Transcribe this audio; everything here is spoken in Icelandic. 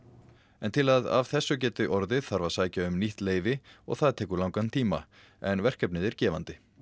en til að þessu geti orðið þarf að sækja um nýtt leyfi og það tekur langan tíma en verkefnið er gefandi